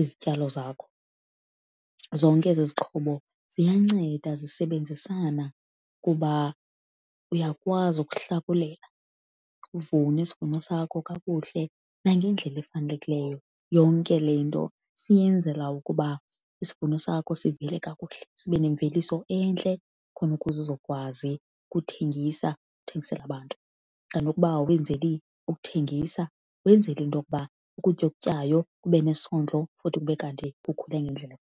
izityalo zakho. Zonke ezi zixhobo ziyanceda zisebenzisana kuba uyakwazi ukuhlakulela uvune isivuno sakho kakuhle nangendlela efanelekileyo. Yonke le nto siyenzela ukuba isivuno sakho sivele kakuhle, sibe nemveliso entle khona ukuze uzokwazi ukuthengisa, uthengisele abantu. Xa nokuba awenzeli ukuthengisa wenzele into yokuba ukutya okutyayo kube nesondlo futhi kube kanti kukhule ngendlela .